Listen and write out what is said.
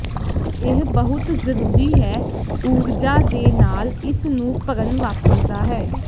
ਇਹ ਬਹੁਤ ਜ਼ਰੂਰੀ ਹੈ ਊਰਜਾ ਦੇ ਨਾਲ ਇਸ ਨੂੰ ਭਰਨ ਵਾਪਰਦਾ ਹੈ